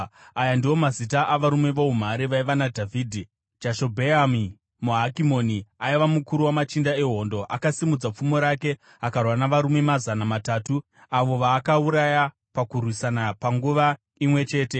Aya ndiwo mazita avarume voumhare vaiva naDhavhidhi: Jashobheami, muHakimoni, aiva mukuru wamachinda ehondo; akasimudza pfumo rake akarwa navarume mazana matatu, avo vaakauraya pakurwisana panguva imwe chete.